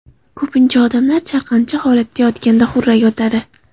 Ko‘pincha odamlar chalqancha holatda yotganda xurrak otadi.